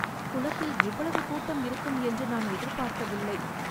குளத்தில் இவ்வளவு கூட்டம் இருக்கும் என்று நான் எதிர்பார்க்கவில்லை.